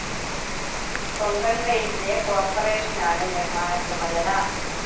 Konkan railways corporation നിർമ്മാണ ചുമതല.